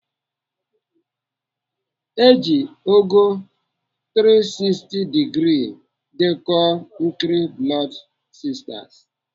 Eji ogo 360 digrii dekọọ nkiri Blood sisters.